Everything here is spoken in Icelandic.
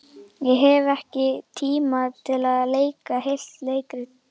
Ég hef ekki tíma til að leika heilt leikrit.